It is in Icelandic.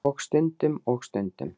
Og stundum. og stundum.